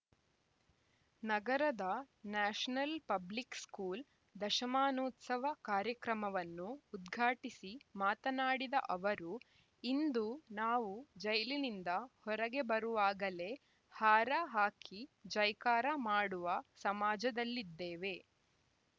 ನಗರದ national public school ದಶಮಾನೋತ್ಸವ ಕಾರ್ಯಕ್ರಮವನ್ನು ಉದ್ಘಾಟಿಸಿ ಮಾತನಾಡಿದ ಅವರು ಇಂದು ನಾವು ಜೈಲಿನಿಂದ ಹೊರಗೆ ಬರುವಾಗಲೇ ಹಾರ ಹಾಕಿ ಜೈಕಾರ ಮಾಡುವ ಸಮಾಜದಲ್ಲಿದ್ದೇವೆ